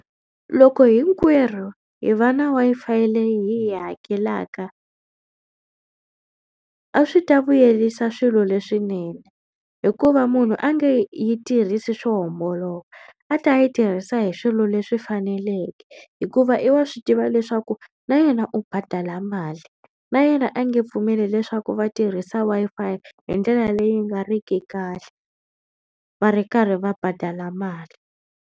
Loko hinkwerhu hi va na Wi-Fi leyi hi yi hakelaka a swi ta vuyerisa swilo leswinene hikuva munhu a nge yi tirhisi swo homboloka a ta yi tirhisa hi swilo leswi faneleke hikuva i wa swi tiva leswaku na yena u badala mali na yena a nge pfumeli leswaku va tirhisa Wi-Fi hi ndlela leyi nga riki kahle va ri karhi va badala mali.